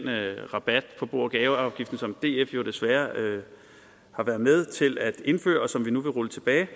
rabat på bo og gaveafgiften som df jo desværre har været med til at indføre og som vi nu vil rulle tilbage